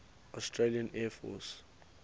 australian air force